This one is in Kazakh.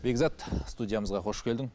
бекзат студиямызға хош келдің